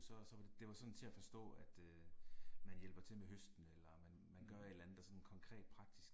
Så så var, det var sådan til at forstå at øh man hjælper til med høsten eller man man gør et eller andet der sådan konkret praktisk